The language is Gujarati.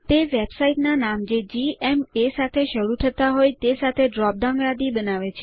તે વેબસાઇટ્સના નામ જે જીએમએ સાથે શરૂ થતા હોય તે સાથે ડ્રોપ ડાઉન યાદી લાવે છે